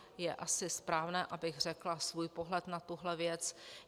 Je asi správné, abych řekla svůj pohled na tuhle věc.